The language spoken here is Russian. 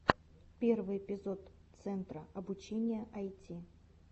первый эпизод центра обучения айти